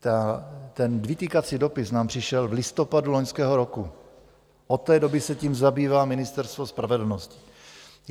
Ten vytýkací dopis nám přišel v listopadu loňského roku, od té doby se tím zabývá Ministerstvo spravedlnosti.